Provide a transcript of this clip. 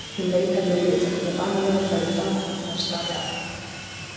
Um leið hefði hún vitað hvernig banalegur færu fram og hvernig væri staðið að þeim.